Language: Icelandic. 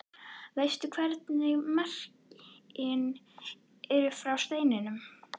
Veistu hvernig merkin eru frá steininum?